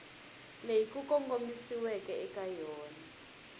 leyi ku kongomisiweke eka yona